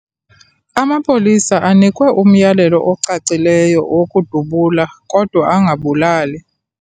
Amapolisa anikwe umyalelo ocacileyo wokudubula kodwa angabulali.